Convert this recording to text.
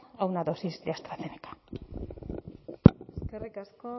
a una dosis de astrazeneca eskerrik asko